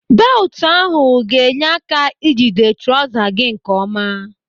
Belutu ahụ ga-enye aka ijide trọza gị nke ọma.